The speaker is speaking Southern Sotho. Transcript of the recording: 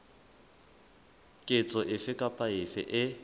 ketso efe kapa efe e